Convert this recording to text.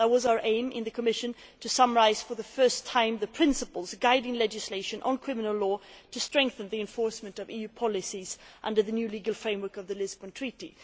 This was our aim in the Commission to summarise for the first time the principles guiding legislation on criminal law so as to strengthen the enforcement of EU policies under the new legal framework of the Lisbon Treaty.